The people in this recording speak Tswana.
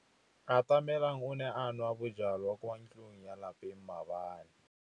Atamelang o ne a nwa bojwala kwa ntlong ya tlelapa maobane.